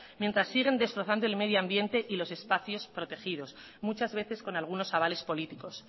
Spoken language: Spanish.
mientras siguen destrozando el medio ambiente y los espacios protegidos muchas veces con algunos avales políticos